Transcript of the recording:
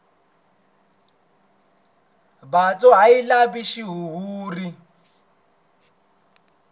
byatso a byi lavi xihuhuri